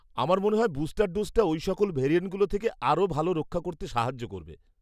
আমার মনে হয় বুস্টার ডোজটা ওই সকল ভ্যারিয়ান্টগুলো থেকে আরও ভালো রক্ষা করতে সাহায্য করবে।